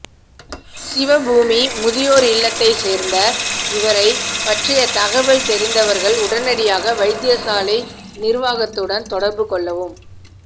சிவபூமி முதியோர் இல்லத்தைச் சேர்ந்த இவரைப் பற்றிய தகவல் தெரிந்தவர்கள் உடனடியாக வைத்தியசாலை நிருவாகத்துடன் தொடர்பு கொள்ளவும்